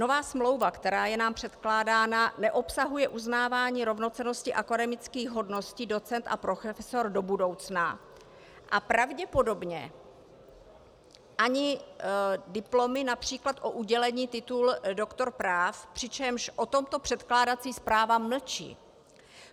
Nová smlouva, která je nám předkládána, neobsahuje uznávání rovnocennosti akademických hodností docent a profesor do budoucna a pravděpodobně ani diplomy například o udělení titulu doktor práv, přičemž o tomto předkládací zpráva mlčí.